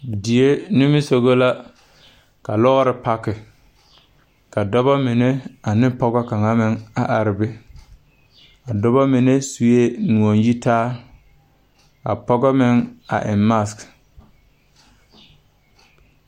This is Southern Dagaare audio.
Die nimisugɔ la ka lɔɔre paki ka dɔbɔ mine anevpɔg kaŋ a are be a dɔbɔ mine suee noɔ yitaa a pɔgɔ meŋ a eŋ mask.